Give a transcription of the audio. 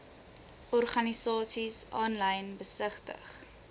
organisasies aanlyn besigtig